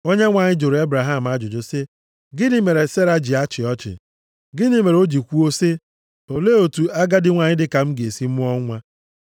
Onyenwe anyị jụrụ Ebraham ajụjụ sị, “Gịnị mere Sera ji achị ọchị? Gịnị mere o ji kwuo sị, ‘Olee otu agadi nwanyị dịka m ga-esi mụọ nwa?’